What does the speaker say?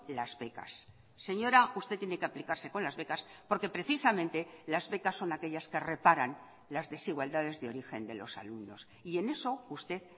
las becas señora usted tiene que aplicarse con las becas porque precisamente las becas son aquellas que reparan las desigualdades de origen de los alumnos y en eso usted